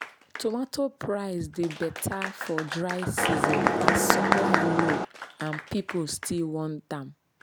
tomato price dey better for dry season as supply low and people still want am.